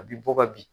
A bi bɔ ka bin